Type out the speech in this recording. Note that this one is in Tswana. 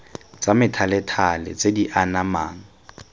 tsa methalethale tse di anamang